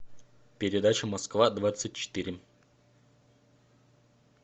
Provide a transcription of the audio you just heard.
передача москва двадцать четыре